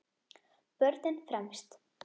Börnin fremst.